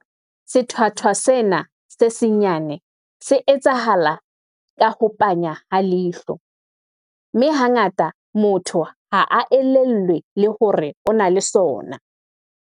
Sethwathwa sena se senyane, se etsahala ka ho panya ha leihlo, mme hangata motho ha a elellwe le hore o na le sona.